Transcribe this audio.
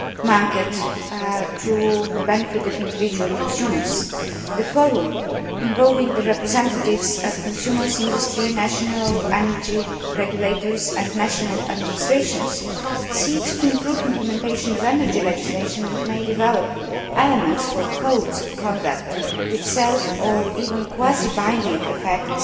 market to the benefit of individual consumers. The Forum, involving the representatives of consumers, industry, national energy regulators and national administrations, seeks to improve implementation of energy legislation and may develop elements for codes of conduct with self regulating and even quasi binding effects